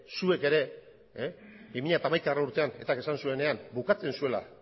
zuek ere bi mila hamaikagarrena urtean etak esan zuenean bukatzen zuela